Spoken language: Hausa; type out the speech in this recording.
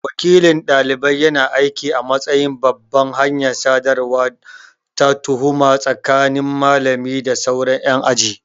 Wakilin dalibai yana aiki a matsayin babbar hanyar sadarwa ta hukuma tsakanin malami da sauran yan aji.